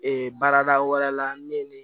Ee baarada wɛrɛ la ne ye nin